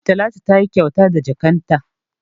Talatu tayi kyauta da jakkan ta